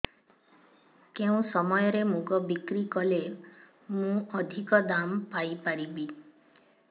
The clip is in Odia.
କେଉଁ ସମୟରେ ମୁଗ ବିକ୍ରି କଲେ ମୁଁ ଅଧିକ ଦାମ୍ ପାଇ ପାରିବି